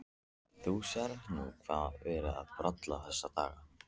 Þú sérð nú hvað verið er að bralla þessa dagana.